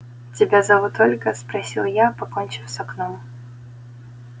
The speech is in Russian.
тебя зовут ольга спросил я покончив с окном